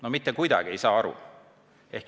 No mitte kuidagi ei saa aru!